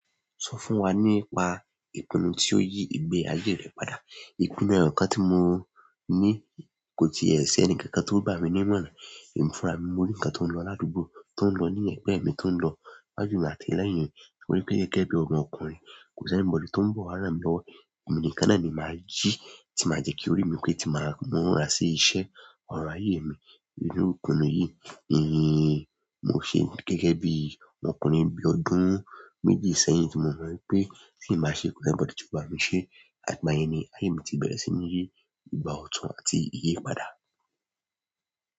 Sọ fún wa nípa ìpinnu tí ó yí ìgbé ayé rẹ padà. Ìpinnu náà, nǹkan tí mo ní kò ti è ṣẹ ẹnìkankan tó gbà mí ní ìmọ̀ràn. Emi fúra mi, mo rí ǹkan tó ń lọ ládùúgbò, tó ń lọ ní ẹ̀gbẹ́ mi, tó ń lọ iwájú mi àti ẹlẹ́yìn mi. Mo rí pé gẹ́gẹ́ bí ọmọ ọkùnrin, kò sí ẹnìbọ̀dè tó ń bọ̀ wá rán mi lọ́wọ́. Emi nìkan náà ni màá jí, tí màá jẹ́ kí orí mi pé tí màá múra sí iṣẹ́, ọrọ̀ ayé mi ni inú ìpinnu yìí. Eh, mo ṣe gẹ́gẹ́ bí ọmọkùnrin bí ọdún méjì sẹ́yìn tí mo mọ̀ pé tí màá ṣe kò sí ẹnìbọ̀dè tó bá mi ṣe. Àtigba yẹn ni ayé mi ti bẹ̀rẹ̀ sí ní yí ìgbà ọ̀tún àti ìyí padà.